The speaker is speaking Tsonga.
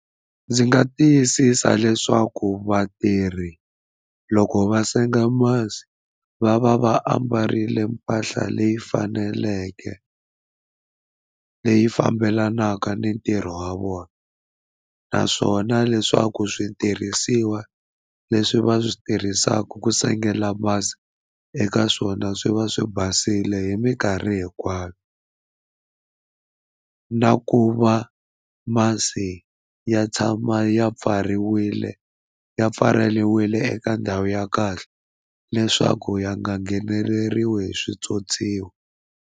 Ndzi nga tiyisisa leswaku vatirhi loko va senga masi va va va ambarile mpahla leyi faneleke leyi fambelanaka ni ntirho wa vona naswona leswaku switirhisiwa leswi va swi tirhisaka ku sengela masi eka swona swi va swi basile hi mikarhi hinkwayo na ku va masi ya tshama ya pfariwile ya pfaleriwile eka ndhawu ya kahle leswaku ya nga ngheneleriwe hi switswotswiwa.